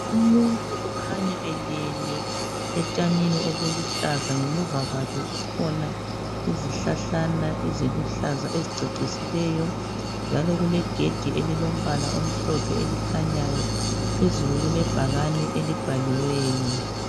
umuntu okhanya elele etshanini obuluhlaza ngemuva kwakhe kukhona izihlahlana eziluhlaza ezicecisileyo njalo kulegedi elilombala omhlophe elikhanyayo phezulu kulebhakane elibhaliweyo